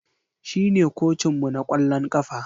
Shine kocinmu na kwallon kafa.